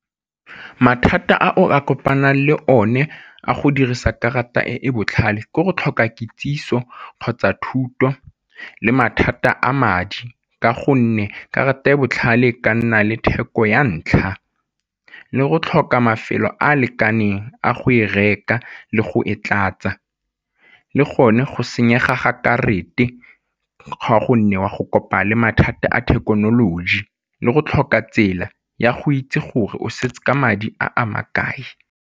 Mathata a o ka kopanang le o ne a go dirisa karata e e botlhale, ke go tlhoka kitsiso kgotsa thuto le mathata a madi ka gonne karata e e botlhale ka nna le theko ya ntlha, le go tlhoka mafelo a a lekaneng a go e reka le go e tlatsa, le gone go senyega ga karata ga o a go kopa le mathata a thekenoloji le go tlhoka tsela ya go itse gore o setse ka madi a a makae.